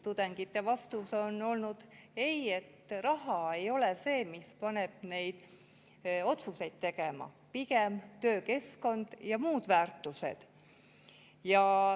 Tudengite vastus on olnud, et raha ei ole see, mis paneb neid otsuseid tegema, pigem töökeskkond ja muud väärtused.